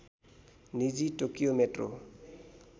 निजी Tokyo metro